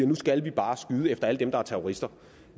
nu skal vi bare skyde efter alle dem der er terrorister